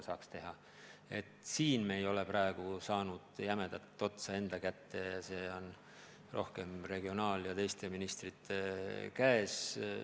Selle elluviimisel me ei ole jämedat otsa enda kätte saadnud, see on rohkem regionaalministri ja teiste ministrite käes.